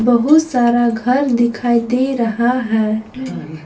बहुत सारा घर दिखाई दे रहा है।